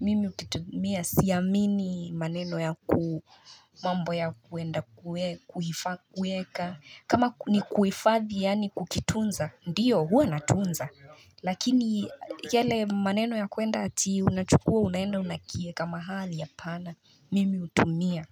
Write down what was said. Mimi ukitumia siamini maneno ya ku mambo ya kuenda kueka kama ni kuifadhi yaani kukitunza ndiyo huwa natunza. Lakini yale maneno ya kwenda ati unachukua unaenda unakieka mahali hapana. Mimi hutumia.